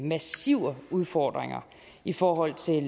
massive udfordringer i forhold til